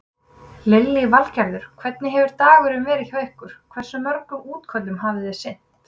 Lillý Valgerður: Hvernig hefur dagurinn verið hjá ykkur, hversu mörgum útköllum hafi þið sinnt?